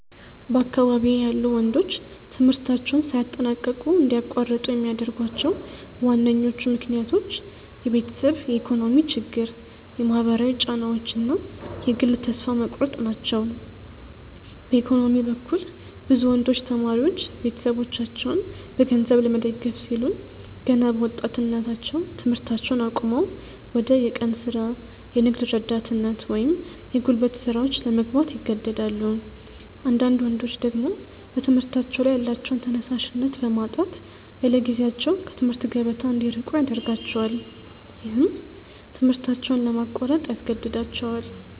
በአካባቢዬ ያሉ ወንዶች ትምህርታቸውን ሳያጠናቅቁ እንዲያቋርጡ የሚያደርጓቸው ዋነኞቹ ምክንያቶች የቤተሰብ የኢኮኖሚ ችግር፣ የማህበራዊ ጫናዎች እና የግል ተስፋ መቁረጥ ናቸው። በኢኮኖሚ በኩል፣ ብዙ ወንዶች ተማሪዎች ቤተሰቦቻቸውን በገንዘብ ለመደገፍ ሲሉ ገና በወጣትነታቸው ትምህርታቸውን አቁመው ወደ የቀን ሥራ፣ የንግድ ረዳትነት ወይም የጉልበት ሥራዎች ለመግባት ይገደዳሉ። አንዳንዳድ ወንዶች ደግሞ በትምህርታቸው ላይ ያላቸውን ተነሳሽነት በማጣት ያለጊዜያቸው ከትምህርት ገበታ እንዲርቁ ያደርጋቸዋል። ይህም ትምህርታቸውን ለማቋረጥ ያስገድዳቸዋል።